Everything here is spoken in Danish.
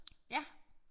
Ja